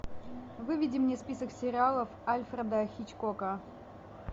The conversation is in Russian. выведи мне список сериалов альфреда хичкока